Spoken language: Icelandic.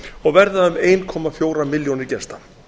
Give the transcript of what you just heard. og verða um ein komma fjórar milljónir gesta